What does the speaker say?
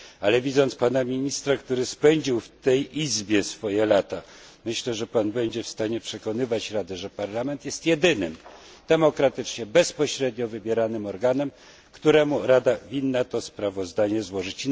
Ale widząc pana ministra, który spędził w tej izbie swoje lata myślę, że Pan będzie w stanie przekonywać Radę, że Parlament jest jedynym demokratycznie, bezpośrednio wybieranym organem, któremu Rada winna to sprawozdanie złożyć.